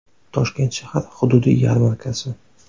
Toshkent shahar hududiy yarmarkasi.